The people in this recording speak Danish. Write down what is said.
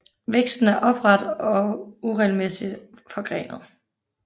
Væksten er opret og uregelmæssigt forgrenet